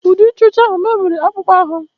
Ude ịcha ọcha ahụ mebiri akpụkpọ ahụ ya